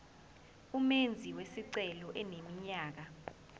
umenzi wesicelo eneminyaka